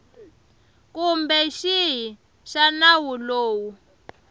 kumbe xihi xa nawu lowu